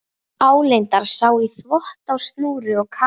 Álengdar sá í þvott á snúru og kamar.